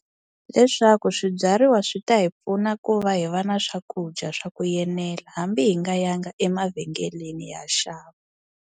Leswaku swibyariwa swi ta hi pfuna ku va hi va na swakudya swa ku enela hambi hi nga ya nga emavhengeleni hi ya xava.